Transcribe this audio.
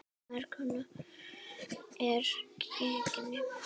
Merk kona er gengin.